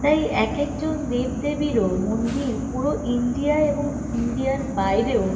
তাই এক একজন দেবদেবীরও মন্দির পুরো ইন্ডিয়া এবং ইন্ডিয়া -র বাইরেও।